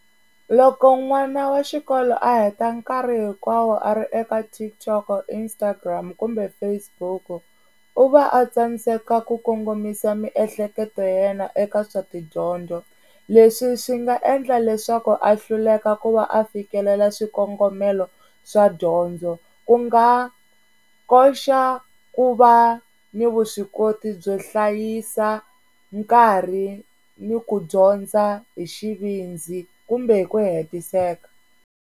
Loko n'wana wa xikolo a heta nkarhi hinkwawo a ri eka TikTok, Instagram kumbe Facebook, u va a tsandzeka ku kongomisa miehleketo yena eka swa tidyondzo. Leswi swi nga endla leswaku a hluleka ku va a fikelela swikongomelo swa dyondzo ku nga koxa ku va ni vuswikoti byo hlayisa nkarhi ni ku dyondza hi xivindzi kumbe hi ku hetiseka.